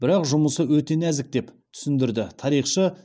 бірақ жұмыс өте нәзік деп түсіндіреді тарихшы